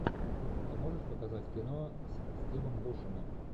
ты можешь показать кино с стивом бушеми